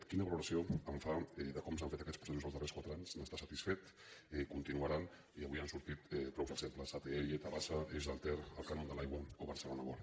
qui· na valoració fa de com s’han fet aquests processos els darrers quatre anys n’està satisfet continuaran i avui n’han sortit prou exemples atll tabasa eix del ter el cànon de l’aigua o barcelona world